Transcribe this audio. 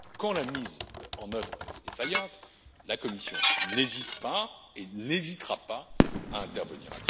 Quand la mise en œuvre est défaillante, la Commission n'hésite pas et n'hésitera pas à intervenir.